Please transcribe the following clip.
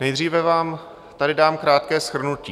Nejdříve vám tady dám krátké shrnutí.